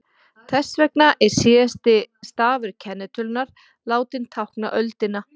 Þess vegna er síðasti stafur kennitölunnar látinn tákna öldina.